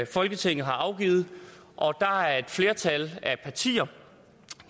folketinget har afgivet og der er et flertal af partier